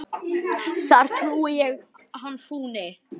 þar trúi ég hann fúni.